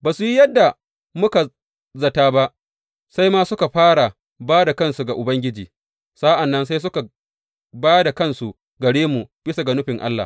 Ba su yi yadda muka za tă ba, sai ma suka fara ba da kansu ga Ubangiji, sa’an nan sai suka ba da kansu gare mu bisa ga nufin Allah.